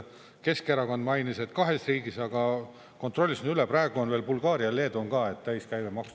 Keskerakond mainis, et kahes riigis, aga kontrollisin üle, praegu on veel Bulgaaria ja Leedu ka täis käibemaksuga.